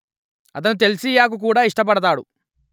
అతను చెల్సియా కు కూడా ఇష్టపడతాడు